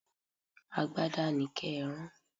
Agbada ni ké rán.